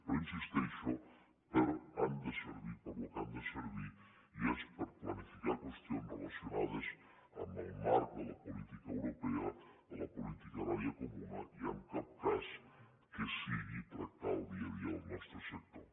però hi insisteixo han de servir pel que han de servir i és per planificar qüestions relacionades amb el marc de la política europea de la política agrària comuna i en cap cas que sigui tractar el dia a dia del nostre sector